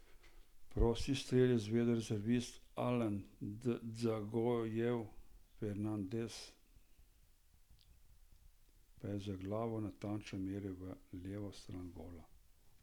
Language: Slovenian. Prosti strel je izvedel rezervist Alan Dzagojev, Fernandes pa je z glavo natančno meril v levo stran gola.